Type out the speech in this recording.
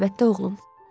Əlbəttə, oğlum.